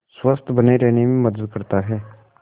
स्वस्थ्य बने रहने में मदद करता है